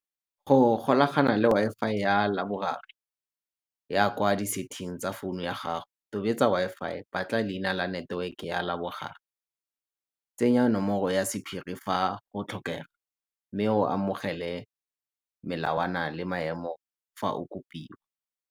Go golagana le Wi-Fi ya ya kwa di-setting tsa founu ya gago, tobetsa Wi-Fi, batla leina la neteweke ya , tsenya nomoro ya sephiri fa go tlhokega mme o amogele melawana le maemo fa o kopiwa.